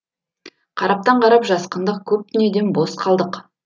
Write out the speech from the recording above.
қараптан қарап жасқандық көп дүниеден бос қалдық